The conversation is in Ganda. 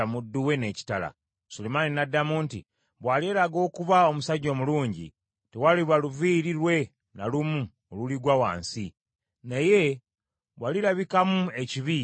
Sulemaani n’addamu nti, “Bw’alyeraga okuba omusajja omulungi, tewaliba luviiri lwe na lumu oluligwa wansi; naye bw’alirabikamu ekibi, alifa.”